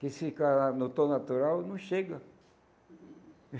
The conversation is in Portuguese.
Que se ficar na no tom natural, não chega.